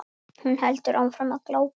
Hún heldur áfram að glápa.